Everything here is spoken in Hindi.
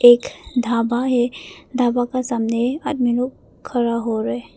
एक ढाबा है ढाबा का सामने आदमी लोग खड़ा हो रहे है।